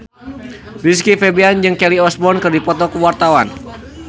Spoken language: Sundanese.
Rizky Febian jeung Kelly Osbourne keur dipoto ku wartawan